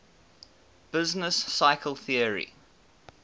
business cycle theory